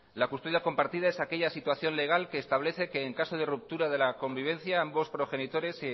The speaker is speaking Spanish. la custodia compartida es aquella situación legal que establece que en caso de ruptura de la convivencia ambos progenitores se